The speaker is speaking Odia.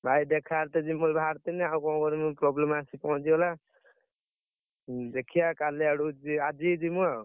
ଭାଇ ଦେଖା ହେବି ବୋଲି ବାହାରିଥିଲି problem ଆସି ପହଞ୍ଚିଗଲା, ଦେଖିଆ କାଲି ଆଡୁ ଯି~ଆଜି ଯିମୁ ଆଉ।